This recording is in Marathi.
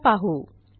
चला पाहू